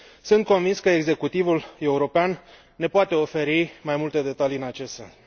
Sunt convins că executivul european ne poate oferi mai multe detalii în acest sens.